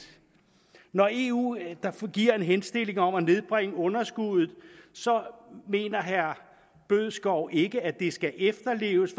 når eu giver en henstilling om at nedbringe underskuddet så mener herre bødskov ikke at det skal efterleves